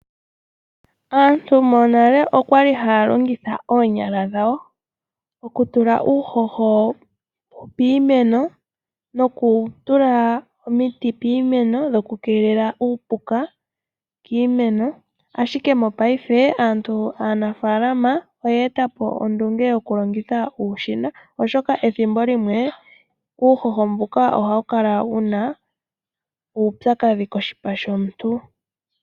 Aantu monale okwali haya longitha oonyala dhawo okutula uuhoho piimeno nokutula omiti piimeno dhoku keelela uupuka kiimeno, ashike mopaife aanafaalama oyeetapo ondunge yokulongitha uushina oshoka ethimbo limwe uuhoho mbuka ohawu kala wuna uupya kadhi koshipa shomuntu.